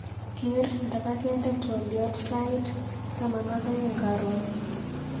Ker nda kakende twaliot sait taman ak aeng karon.